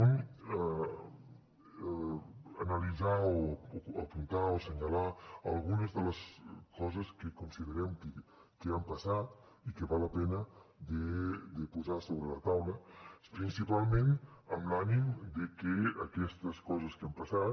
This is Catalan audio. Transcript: un analitzar o apuntar o assenyalar algunes de les coses que considerem que han passat i que val la pena de posar sobre la taula principalment amb l’ànim de que aquestes coses que han passat